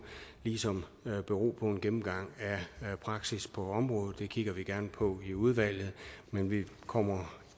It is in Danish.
ligesom bero på en gennemgang af praksis på området det kigger vi gerne på i udvalget men vi kommer